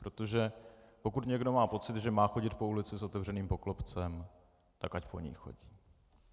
Protože pokud někdo má pocit, že má chodit po ulici s otevřeným poklopcem, tak ať po ní chodí.